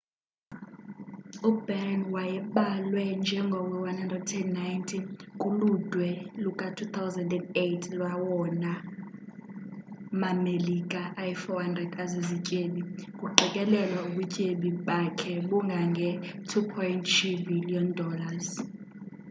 ubatten wayebalwe njengowe-190 kuludwe luka-2008 lwawona ma-melika ayi-400 azizityebi, kuqikelelwa ubutyebi bakhe bungange-$2.3 bhiliyoni